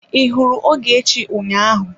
I hụrụ Ogechi ụnyaahụ?